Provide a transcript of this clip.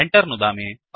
Enter नुदामि